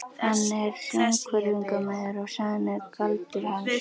Hann er sjónhverfingamaður og sagan er galdur hans.